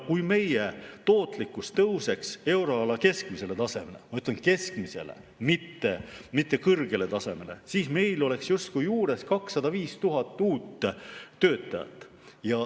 Kui meie tootlikkus tõuseks euroala keskmisele tasemele, ma ütlen, keskmisele, mitte kõrgele tasemele, siis meil oleks justkui juures 205 000 uut töötajat.